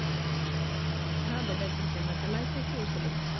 હા બધા માજા મા તમારે ત્યા કેવુ છે બધુ